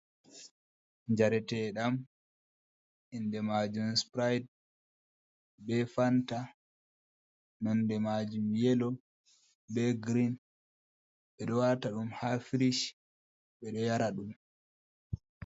Njareteɗam inde majum spride be fanta nonde majum yelo be girin. Ɓeɗo wata ɗum ha firish ɓeɗo yara ɗum.